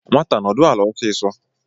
Nwataa nodu ala ̣ọsịsọ